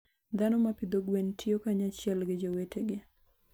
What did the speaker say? Dhano ma pidho gwen tiyo kanyachiel gi jowetegi.